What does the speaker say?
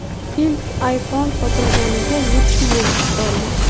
Ilk iPhone sotilganiga yetti yil to‘ldi.